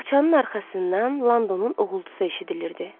Bağçanın arxasından Londonun uğultusu eşidilirdi.